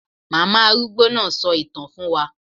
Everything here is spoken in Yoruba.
Màmá arúgbó náà sọ ìtàn fún wa